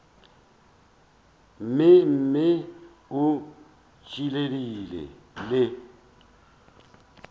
mme mme o ntšhiile le